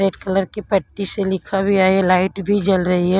Red colour की पट्टी से लिखा भी है लाइट भी जल रही है।